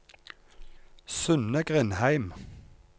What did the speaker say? Synne Grindheim